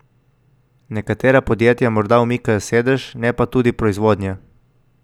Nekatera podjetja morda umikajo sedež, ne pa tudi proizvodnje.